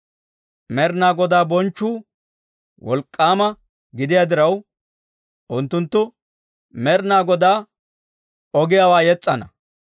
Med'inaa Godaa bonchchuu wolk'k'aama gidiyaa diraw, unttunttu Med'inaa Godaa ogiyaawaa yes's'ana.